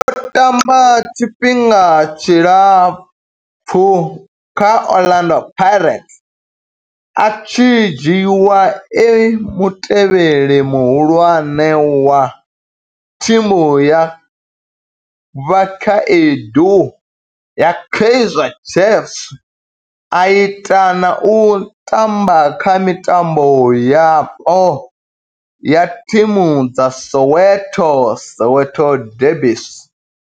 O tamba tshifhinga tshilapfhu kha Orlando Pirates, a tshi dzhiiwa e mutevheli muhulwane wa thimu ya vhakhaedu ya Kaizer Chiefs, a ita na u tamba kha mitambo yapo ya thimu dza Soweto Soweto derbies.